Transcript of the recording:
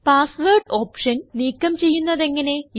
password option നീക്കം ചെയ്യുന്നത് എങ്ങനെ